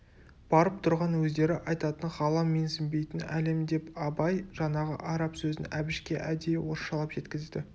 барып тұрған өздері айтатын ғалам менсінбейтін әлем деп абай жаңағы араб сөзін әбішке әдейі орысшалап жеткізді